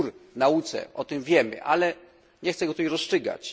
Jest spór w nauce o tym wiemy, ale nie chcę go tutaj rozstrzygać.